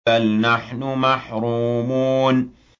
بَلْ نَحْنُ مَحْرُومُونَ